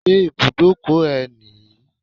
Ṣé ibùdókọ̀ ẹ nìyí?